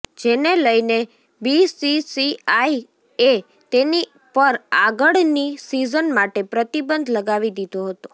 જેને લઇને બીસીસીઆઇ એ તેની પર આગળની સિઝન માટે પ્રતિબંધ લગાવી દીધો હતો